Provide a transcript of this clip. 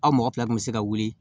Aw mɔgɔ fila tun bɛ se ka wuli